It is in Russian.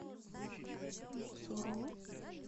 мосоро